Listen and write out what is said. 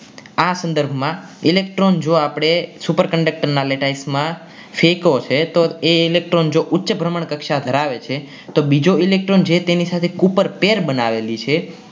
આ સંદર્ભમાં electron જો આપણે superconductor ના latize માં સેટો હશે તો એ electron જોવું છે કક્ષા પ્રમાણ ધરાવે છે તો બીજો electron જે છે એને ઉપર કેર બનાવેલી છે.